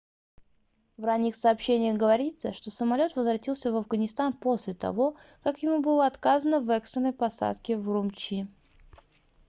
в ранних сообщениях говорится что самолёт возвратился в афганистан после того как ему было отказано в экстренной посадке в урумчи